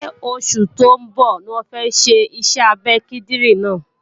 Ṣé oṣù tó ń bọ̀ ní wọ́n fẹ́ ṣe iṣẹ́ abẹ kíndìnrín náà?